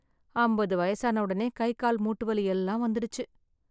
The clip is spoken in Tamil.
அம்பது வயசான உடனே கை கால் மூட்டு வலி எல்லாம் வந்துடுச்சு.